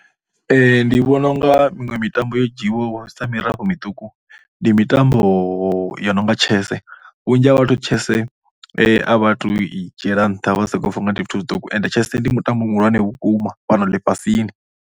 Ndi vhona u nga miṅwe mitambo yo dzhiiwa sa mitambo miṱuku ndi mitambo yo no nga chess. Vhunzhi ha vhathu chess a vha tou i dzhiela nṱha, vha sokou pfha u nga ndi zwithu zwiṱuku ende chess ndi mutambo muhulwane vhukuma fhano ḽifhasini.